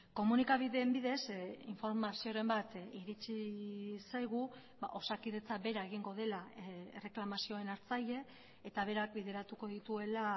komunikabideen bidez informazioren bat iritsi zaigu osakidetza bera egingo dela erreklamazioen hartzaile eta berak bideratuko dituela